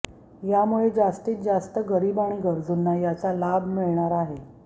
यामुळे जास्तीतजास्त गरीब आणि गरजूंना याचा लाभ मिळणार आहे